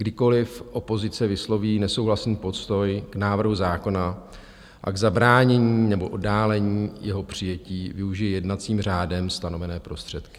Kdykoliv opozice vysloví nesouhlasný postoj k návrhu zákona a k zabránění nebo oddálení jeho přijetí, využije jednacím řádem stanovené prostředky.